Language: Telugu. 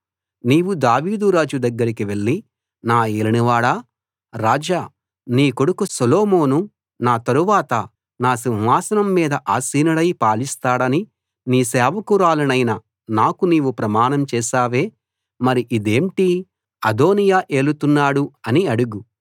నీవు దావీదు రాజు దగ్గరకి వెళ్ళి నా యేలినవాడా రాజా నీ కొడుకు సొలొమోను నా తరువాత నా సింహాసనం మీద ఆసీనుడై పాలిస్తాడని నీ సేవకురాలినైన నాకు నీవు ప్రమాణం చేశావే మరి ఇదేంటి అదోనీయా ఏలుతున్నాడు అని అడుగు